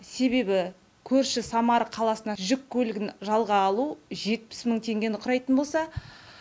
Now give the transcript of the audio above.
себебі көрші самара қаласына жүк көлігін жалға алу жетпіс мың теңгені құрайтын болса